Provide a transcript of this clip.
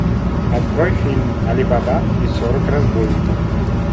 открой фильм али баба и сорок разбойников